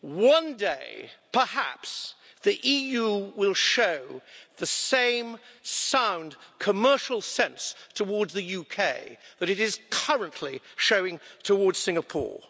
One day perhaps, the EU will show the same sound commercial sense towards the UK that it is currently showing towards Singapore.